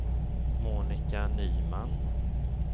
Monica Nyman